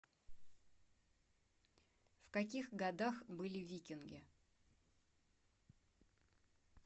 в каких годах были викинги